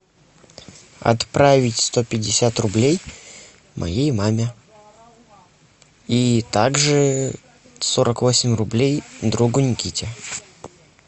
отправить сто пятьдесят рублей моей маме и также сорок восемь рублей другу никите